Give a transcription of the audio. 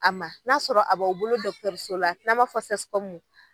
A ma n'a sɔrɔ a b'aw bolo so la n'an ma fɔ CSCOM.